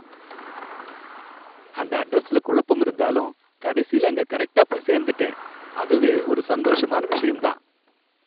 அந்த அட்ரஸ்ல குழப்பம் இருந்தாலும், கடைசில அங்க கரெக்டா போய்ச் சேர்ந்துட்டேன், அதுவே ஒரு சந்தோஷமான விஷயம் தான்.